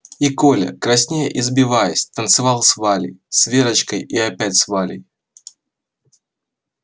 и коля краснея и сбиваясь танцевал с валей с верочкой и опять с валей